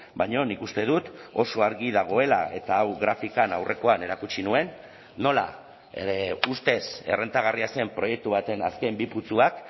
baina nik uste dut oso argi dagoela eta hau grafikan aurrekoan erakutsi nuen nola ustez errentagarria zen proiektu baten azken bi putzuak